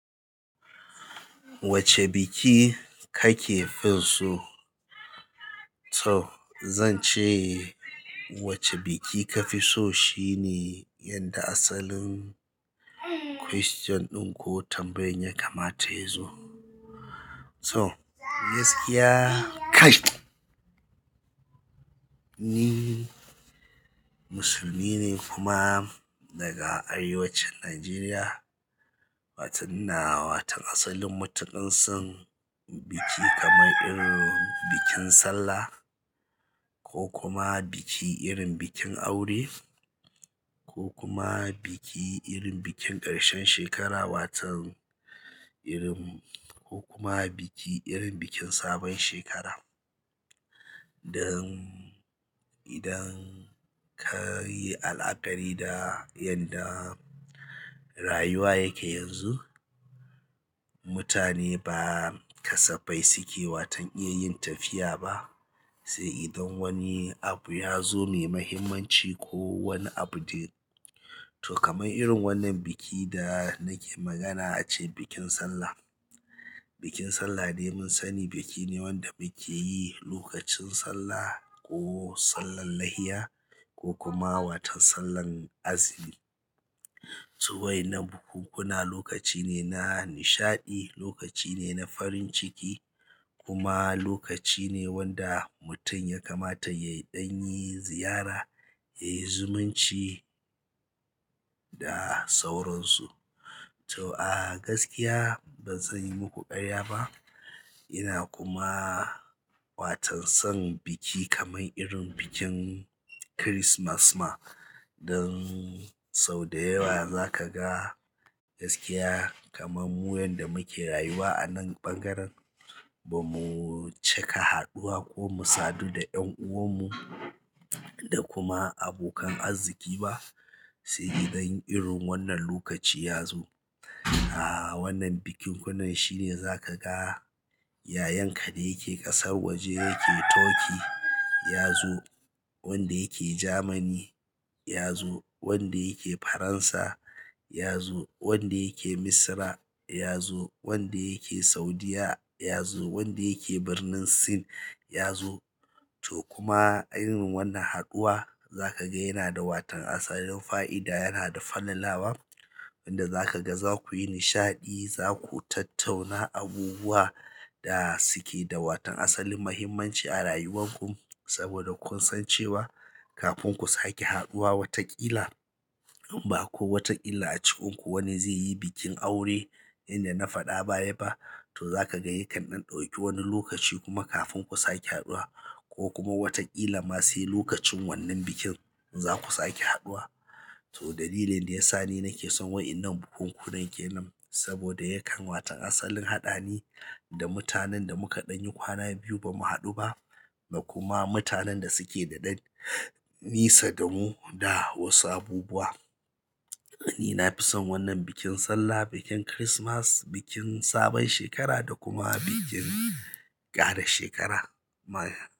Wacce biki kake fi so? To zan ce wacce biki kafi so shine yadda asalin kwaston ɗin ko tambaye ya kamata yazo. To gaskiya kaii. Ni musulmine kuma daga arewacin nageriya waton ina waton asalin matuƙar son biki kamar irin bikin sallah ko kuma biki irin bikin aure. Ko kuma biki irin bikin ƙarshen shekara watan irin ko kuma biki irin bikin sabon shekara. Dan idan kayi alakari da yadda rayuwa yake yanzu, mutane ba kasafai suke watan iya yin tafiya ba, sai idan wani abu ya zo mai muhimmanci ko wani abu dai. To kamar irin wannan biki da nake magana ace bikin Sallah. Bikin Sallah dai mun sani biki ne wanda muke yi lokacin Sallah ko sallar layya ko kuma watan sallar azumi. To wainnan bukunkuna lokaci ne na nishaɗi, lokaci ne na farin ciki kuma lokaci ne wanda mutum ya kamata yayi ɗan yi ziyara, yayi zumunci da sauransu. To a gaskiya ban zan yi muku ƙarya ba. Ina kuma watan son biki kamar irin bikin Kirismas ma dan sau da yawa za ka ga gaskiya kamar mu wanda muke rayuwa anan ɓangaren ba mu caka haɗuwa ko mu sadu da 'yan uwan mu da kuma abokan arziki ba, sai idan irin wannan lokaci ya zo. A wannan bikinkunan shine za ka ga yayanka da yake ƙasar waje yake Turkey ya zo, wanda yake Jamani ya zo, wanda yake Faransa ya zo, wanda yake Misra ya zo, wanda yake Saudiyya ya zo, wanda yake birnin Sin ya zo. To kuma irin wannan haɗuwa za ka ga yana da watan asalin fa'ida, yana da fallalawa wanda za ka ga za ku yi nishaɗi, za ku tattauna abubuwa da suke da watan asalin muhimmanci a rayuwar ku saboda kun san cewa kafin ku sake haɗuwa wataƙila ba ko wataƙila a cikinku wani zai yi bikin aure inda na faɗa ba ya ba, to za ka ga yakan ɗauki wani lokaci kuma kafin ku sake haɗuwa ko kuma wataƙila masu lokacin wannan bikin za ku sake haɗuwa. To dalilin da ya sa ni nake son wa'inan bukunkunan ke nan saboda yakan watan asalin haɗa ni da mutanen da muka ɗan yi kwana biyu ba mu haɗu ba da kuma mutanen da suke da ɗan nisa da mu da wasu abubuwa. Ni na fi son wannan bikin Sallah, bikin Kirismas, bikin sabon shekara da kuma bikin ƙara shekara ma.